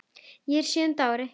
Hún er á sjöunda ári